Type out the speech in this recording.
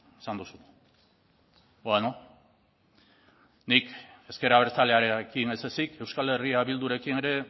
esan duzu bueno nik ezker abertzalearekin ez ezik euskal herria bildurekin ere